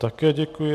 Také děkuji.